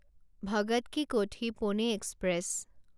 Bhagat ki Kothi Pune express